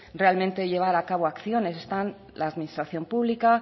realmente llevar a cabo acciones están la administración pública